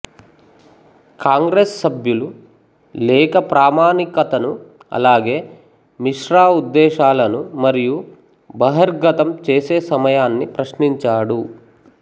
కాంగ్రెస్ సభ్యులు లేఖ ప్రామాణికతను అలాగే మిశ్రా ఉద్దేశాలను మరియు బహిర్గతం చేసే సమయాన్ని ప్రశ్నించాడు